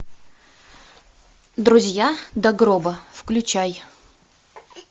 друзья до гроба включай